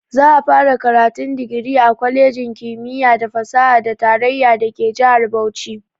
Za'a fara karatun digiri a kwalejin kimiyya da fasaha ta tarayya dake jihar Bauchi.